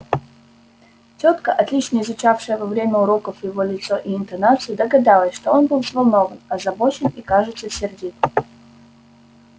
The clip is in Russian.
тётка отлично изучившая во время уроков его лицо и интонацию догадалась что он был взволнован озабочен и кажется сердит